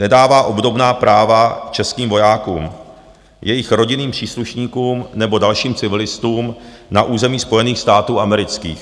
Nedává obdobná práva českým vojákům, jejich rodinným příslušníkům nebo dalším civilistům na území Spojených států amerických.